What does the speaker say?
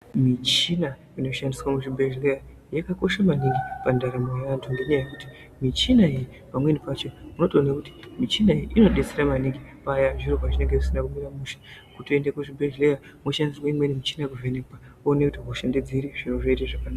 Muchina inoshandiswa muzvibhedhlera yakakosha maningi mundaramo yevantu ngekuti michina iyi pamweni pacho unotoona kuti michina iyi inodetsera maningi paya zviro pazvinenge zvisina kumira mushe Votoenda kuzvibhedhlera woshandisirwa imweni michini kuvhenekwa wotoonekwa kuti hosha ndeiri zviro zvotoita zvakanaka.